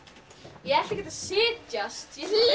ég ætla ekkert að setjast